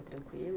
Foi tranquilo?